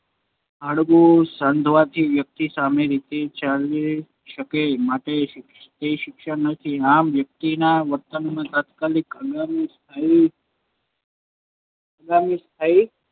હાડકું સંધાવાથી વ્યક્તિ સામાન્ય રીતે ચાલી શકે છે, માટે તે શિક્ષણ નથી. આમ, વ્યક્તિના વર્તનમાંનાં તત્કાલીન, હંગામી અને અસ્થાયી હંગામી અને અસ્થાયી